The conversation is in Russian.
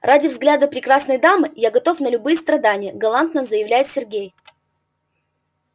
ради взгляда прекрасной дамы я готов на любые страдания галантно заявляет сергей